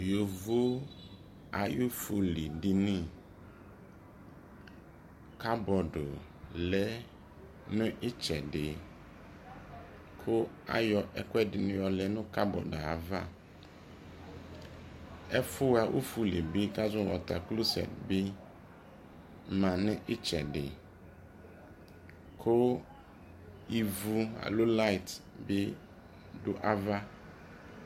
yovo ayo ofuli dini kabodo lɛ no etsɛdi ko ayɔ ɛkoedini ɔlɛ no kabodo ayava efo ha ofuli boako azɔ mo watakloset bi ma no itsedi ku ivu alo light bi do ava